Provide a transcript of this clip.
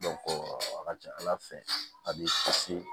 a ka ca ala fɛ a b'i kisi